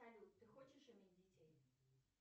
салют ты хочешь иметь детей